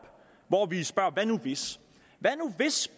hvor vi spørger hvad nu hvis hvad nu hvis